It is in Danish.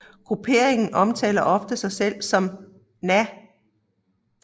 Grupperingen omtaler ofte sig selv som Na